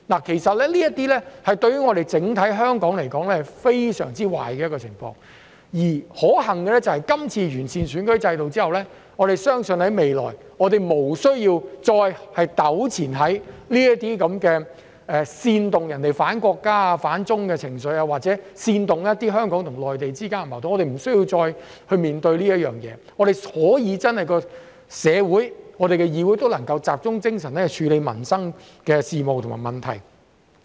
其實這些對香港整體來說是非常壞的情況，可幸的是，這次落實完善選舉制度後，我們相信未來無須再糾纏於這些煽動人反國家、反中的情緒，又或者煽動香港與內地間的矛盾，我們不用再面對這些事情，香港社會和議會能夠集中精神處理民生事務和問題。